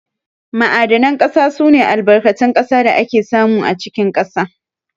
Ma'adanan ƙasa sune Albarkatun ƙasa da ake samu a cikin ƙasa.